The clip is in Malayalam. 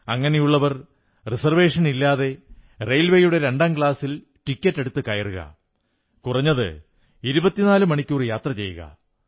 അങ്ങനെയുള്ളവർ റിസർവേഷനില്ലാതെ റെയിൽവേയുടെ രണ്ടാംക്ലാസിൽ ടിക്കറ്റെടുത്തു കയറുക കുറഞ്ഞത് 24 മണിക്കൂർ യാത്ര ചെയ്യുക